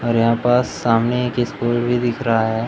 और यहां पास सामने एक स्कूल भी दिख रहा है।